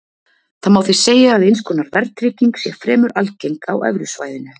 Það má því segja að eins konar verðtrygging sé fremur algeng á evrusvæðinu.